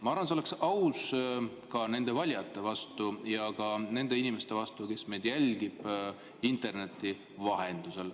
Ma arvan, et see oleks aus ka nende valijate ja muude inimeste suhtes, kes meid jälgivad interneti vahendusel.